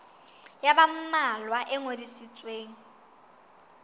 ya ba mmalwa e ngodisitsweng